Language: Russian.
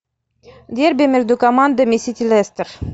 дерби между командами сити лестер